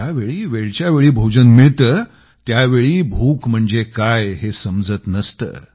ज्यावेळी वेळच्यावेळी भोजन मिळतं त्यावेळी भूक म्हणजे काय हे समजत नसतं